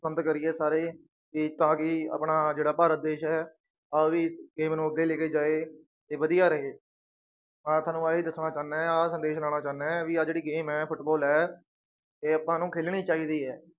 ਪਸੰਦ ਕਰੀਏ ਸਾਰੇ ਤੇ ਤਾਂ ਕਿ ਆਪਣਾ ਜਿਹੜਾ ਭਾਰਤ ਦੇਸ ਹੈ ਉਹਦੀ team ਨੂੰ ਅੱਗੇ ਲੈ ਕੇ ਜਾਏ ਤੇ ਵਧੀਆ ਰਹੇ, ਮੈਂ ਤੁਹਾਨੂੰ ਆਹੀ ਦੱਸਣਾ ਚਾਹੁਨਾ ਹੈ ਆਹ ਸੰਦੇਸ਼ ਲਾਉਣਾ ਚਾਹੁਨਾ ਹੈ ਵੀ ਆਹ ਜਿਹੜੀ game ਹੈ ਫੁਟਬਾਲ ਹੈ ਇਹ ਆਪਾਂ ਨੂੰ ਖੇਲਣੀ ਚਾਹੀਦੀ ਹੈ।